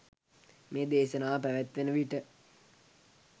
මේ දේශනාව පැවත්වෙන විට